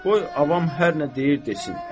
Qoy avam hər nə deyir desin.